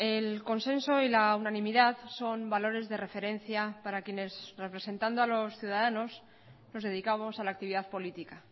el consenso y la unanimidad son valores de referencia para quienes representando a los ciudadanos nos dedicamos a la actividad política